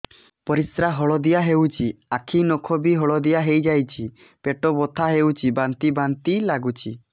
ପରିସ୍ରା ହଳଦିଆ ହେଉଛି ଆଖି ନଖ ବି ହଳଦିଆ ଦେଖାଯାଉଛି ପେଟ ବଥା ହେଉଛି ବାନ୍ତି ବାନ୍ତି ଲାଗୁଛି